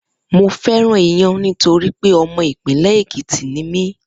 Mo fé̩ràn iyán nítorí pé o̩mo̩ ìpínlè̩ Èkìtì ni mí